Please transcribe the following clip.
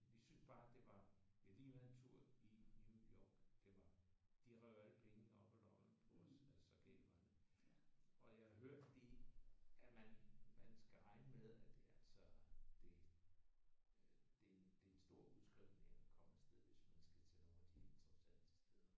Vi syntes bare vi har lige været en tur i New York. Det var de rev jo alle pengene op af lommen på os. Så galt var det. Og jeg hørte det at man man skal regne med at det altså det det det er en stor udskrivning at komme af sted hvis man skal til nogle af de interessante steder